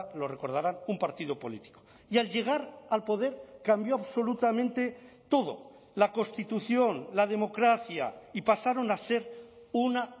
lo recordarán un partido político y al llegar al poder cambió absolutamente todo la constitución la democracia y pasaron a ser una